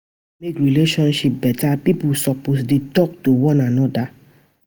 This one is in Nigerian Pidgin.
To mek relationship beta, pipo supposed dey talk to one anoda,